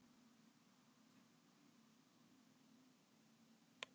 Í raun er vöfum spólunnar dreift í raufar á innra yfirborði snúðsins.